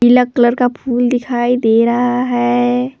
पीला कलर का फूल दिखाई दे रहा है।